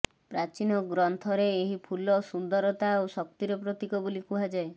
ପ୍ରାଚୀନ ଗ୍ରନ୍ଥରେ ଏହି ଫୁଲ ସୁନ୍ଦରତା ଓ ଶକ୍ତିର ପ୍ରତୀକ ବୋଲି କୁହାଯାଏ